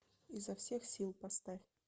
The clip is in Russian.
изо всех сил поставь